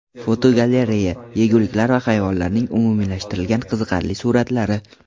Fotogalereya: Yeguliklar va hayvonlarning umumiylashtirilgan qiziqarli suratlari.